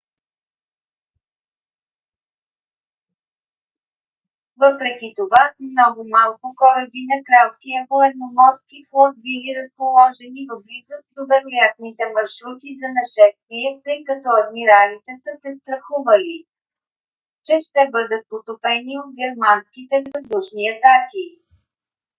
въпреки това много малко кораби на кралския военноморски флот били разположени в близост до вероятните маршрути за нашествие тъй като адмиралите са се страхували че ще бъдат потопени от германските въздушни атаки